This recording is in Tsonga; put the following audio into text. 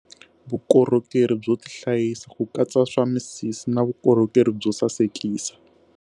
Vukorhokeri byo tihlayisa, ku katsa swa misisi na vukorhokeri byo sasekisa.